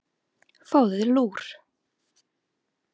Fáðu þér lúr.